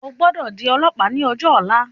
O gbọ́dọ̀ di ọlọ̀pàá ní ọjọ ọ̀la.